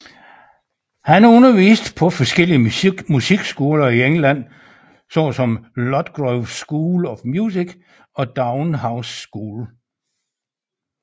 Han underviste på forskellige musikskoler i England såsom Ludgrove Scholl of Music og Downe House School